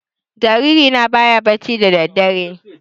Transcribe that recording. Jariri na baya bacci da daddare